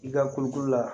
I ka kulu kolo la